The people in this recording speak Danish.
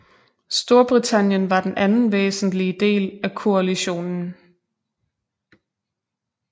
Storbritannien var den anden væsentlige del af koalitionen